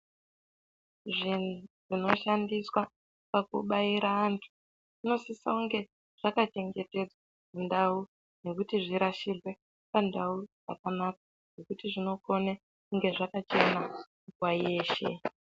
Muchini unoshandiswa pakubaira antu zvinosise kunge zvakachengetedzwa mundau nekuti zvirashirwe pandau yakanaka nekuti zvinokone kunge zvakachena nguva yeshe.